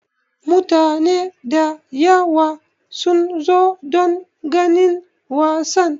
Mutane da yawa sun zo don ganin wasan.